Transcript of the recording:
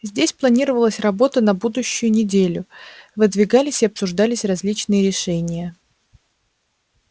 здесь планировалась работа на будущую неделю выдвигались и обсуждались различные решения